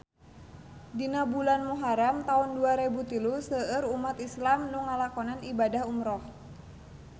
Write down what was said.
Dina bulan Muharam taun dua rebu tilu seueur umat islam nu ngalakonan ibadah umrah